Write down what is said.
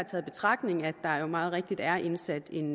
tager i betragtning at der jo meget rigtigt er indsat en